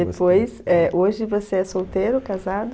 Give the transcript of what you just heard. E depois é, hoje você é solteiro, casado?